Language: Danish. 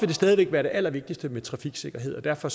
det stadig væk være det allervigtigste med trafiksikkerhed og derfor